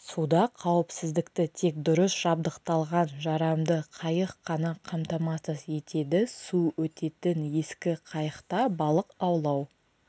суда қауіпсіздікті тек дұрыс жабдықталған жарамды қайық қана қамтамасыз етеді су өтетін ескі қайықта балық аулау